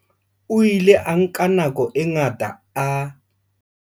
O ile a nka nako e ngata a.